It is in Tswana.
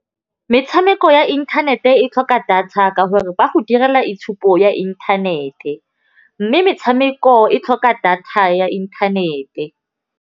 Metshameko ya inthanete e tlhoka data ka gore ba go direla itshupo ya inthanete, mme metshameko e tlhoka data ya inthanete.